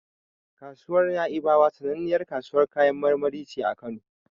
Kasuwar Na'ibawa sananniyar kasuwar kayan marmari ce a Kano.